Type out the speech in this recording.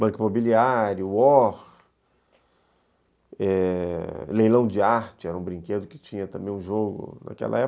Banco Imobiliário, War, eh, Leilão de Arte, era um brinquedo que tinha também um jogo naquela época.